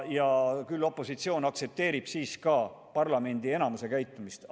Küll opositsioon aktsepteerib siis ka parlamendi enamuse käitumist.